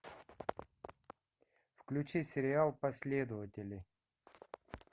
включи сериал последователи